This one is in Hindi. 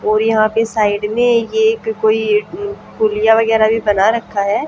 और यहां पे साइड में ये एक कोई अं पुलिया वगैरह भी बना रखा है।